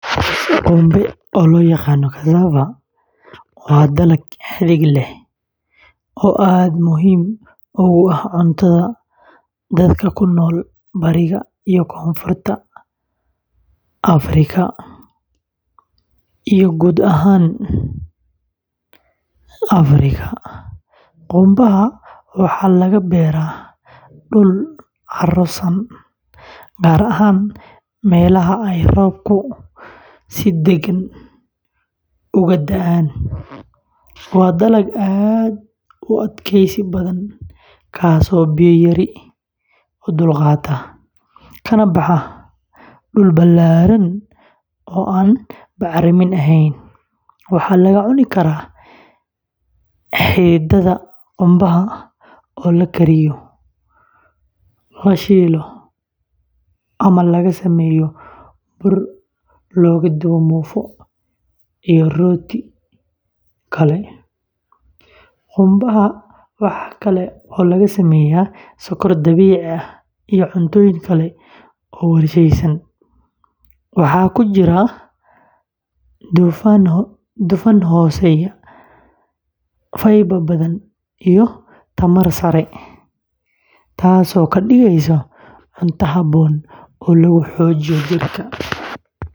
Qumbe, oo loo yaqaan cassava, waa dalag xidid leh oo aad muhiim ugu ah cuntada dadka ku nool bariga iyo koonfurta wadanka, iyo guud ahaan Afrika. Qumbaha waxaa laga beeraa dhul carro-san, gaar ahaan meelaha ay roobabku si deggan uga da’aan. Waa dalag aad u adkaysi badan, kaasoo biyo yari u dulqaata, kana baxa dhul ballaaran oo aan bacrin ahayn. Waxaa laga cuni karaa xididdada qumbaha oo la kariyo, la shiilo, ama laga sameeyo bur loogu dubo muufo iyo rooti kale. Qumbaha waxaa kale oo laga sameeyaa sokor dabiici ah iyo cuntooyin kale oo warshadaysan. Waxaa ku jira dufan hooseeya, fiber badan, iyo tamar sare, taasoo ka dhigaysa cunto habboon oo lagu xoojiyo jirka.